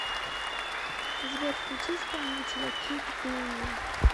сбер включи исполнителя кид буу